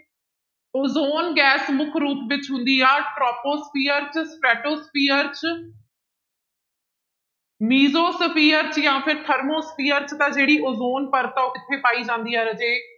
ozone gas ਮੁੱਖ ਰੂਪ ਵਿੱਚ ਹੁੰਦੀ ਆ troposphere ਚ stratosphere ਚ mesosphere ਚ ਜਾਂ ਫਿਰ thermosphere ਚ ਤਾਂ ਜਿਹੜੀ ਓਜੋਨ ਪਰਤ ਆ ਉਹ ਕਿੱਥੇ ਪਾਈ ਜਾਂਦੀ ਹੈ ਰਾਜੇ